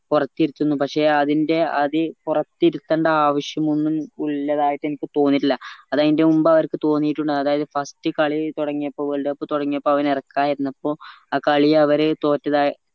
പൊറത്തിരുത്തുന്നു പക്ഷെ അതിന്റെഅത് പൊറത്തിരുത്തണ്ട ആവിശ്യമൊന്നും ഇല്ലാതായിട്ട് എനിക്ക് തോന്നിട്ടില്ല അത് അതിന്റെ മുൻപ് അവർക്ക് തോന്നിയിട്ടുണ്ടാവും അതായത് first കളി തൊടങ്ങിയപ്പോ world cup തൊടങ്ങിയപ്പോ അവനെ എറക്കാതിരുന്നപ്പോ ആ കളി അവര് തോറ്റതായി